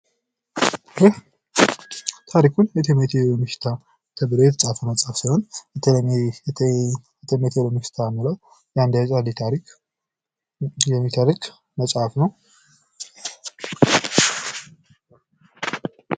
ይህ ታሪክ ቴሜቴ የሎሚ ሽታ ተብሎ የተፃፈ መፅሀፍ ነው ።ቴሜቴ የሚለው አንድ ታሪክ ተደርጎ የተፃፈ ነው።